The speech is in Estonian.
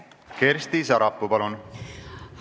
Kersti Sarapuu, palun!